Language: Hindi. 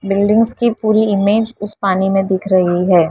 बिल्डिंग्स की पूरी इमेज उस पानी में दिख रही है।